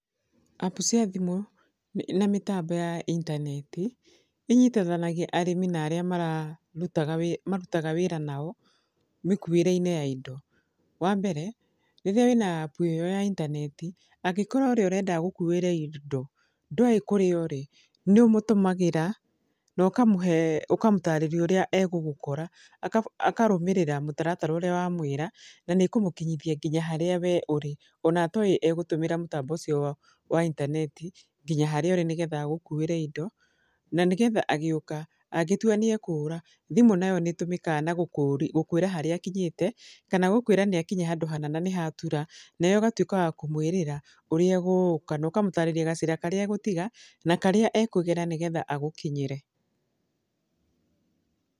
Appu cia thimũ, na mĩtambo ya intaneti, inyitanagia arĩmi na arĩa mararutaga marutaga wĩra nao, mĩkuĩre-inĩ ya indo. Wa mbere, rĩrĩa wĩna appu ĩyo ya intaneti, angĩkorwo ũrĩa ũrenda agũkuĩre indo ndoĩ kũrĩa ũrĩ, nĩ ũmũtũmagĩra, na ũkamũhe, ũkamũtarĩria ũrĩa egũgũkora. Akarũmĩrĩra mũtaratara ũrĩa wamwĩra, na nĩ ĩkũmũkinyithia nginya harĩa we ũrĩ. Ona atoĩ egũtũmĩra mũtambo ũcio wa intaneti nginya harĩa ũrĩ nĩgetha agũkuĩre indo, na nĩgetha agĩũka, angĩtua nĩ ekũũra, thimũ nayo nĩ ĩtũmĩkaga na gũkũĩra harĩa akinyĩte, kana gũkũĩra handũ hana na nĩ hatura. Nawe ũgatuĩka wa kũmũĩrĩra ũrĩa egũka, na ũkamũtarĩria gacĩra karĩa egũtiga, na karĩa ekũgerera nĩgetha agũkinyĩre.